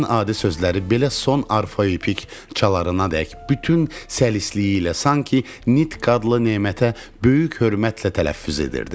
Ən adi sözləri belə son arfoepik çalardanadək bütün səlisliyi ilə sanki nitq adlı nemətə böyük hörmətlə tələffüz edirdi.